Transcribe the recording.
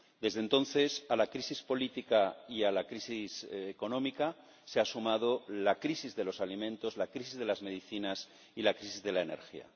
Desde entonces, a la crisis política y a la crisis económica se ha sumado la crisis de los alimentos, la crisis de las medicinas y la crisis de la energía.